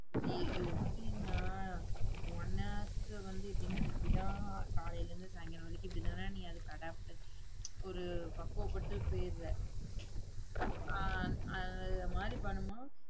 இது எப்படின்னா உனக்கு வந்து எப்படின்னா இப்படித்தான் காலையில இருந்து சாயங்காலம் வரைக்கும் இப்படித்தான்னா நீ அதுக்கு adopt ஆயி ஒரு பக்குவப்பட்டு போயிடறே அஹ் அஹ் அந்த மாதிரி பண்ணும் போது